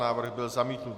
Návrh byl zamítnut.